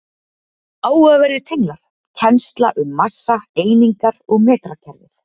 Áhugaverðir tenglar: Kennsla um massa, einingar og metrakerfið.